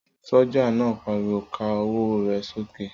Sọ́jà náà pariwo ká ọwọ́ rẹ sókè?